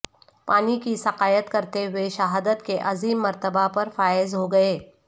پانی کی سقائیت کرتے ہوئے شہادت کے عظیم مرتبہ پر فائز ہو گئے